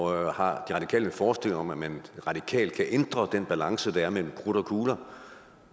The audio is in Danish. radikale en forestilling om at man radikalt kan ændre den balance der er mellem krudt og kugler